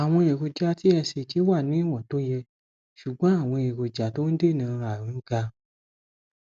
àwọn èròjà tsh wà ní ìwọn tó yẹ ṣùgbọn àwọn èròjà tó ń dènà àrùn ga